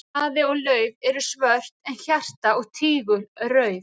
Spaði og lauf eru svört en hjarta og tígul rauð.